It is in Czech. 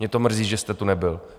Mě to mrzí, že jste tu nebyl.